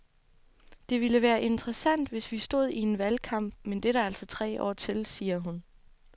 Det ville være interessant, hvis vi stod i en valgkamp, men det er der altså tre år til, siger hun.